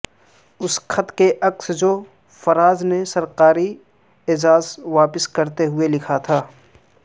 اس خط کا عکس جو فراز نے سرکاری اعزاز واپس کرتے ہوئے لکھا تھا